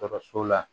Dɔkɔtɔrɔso la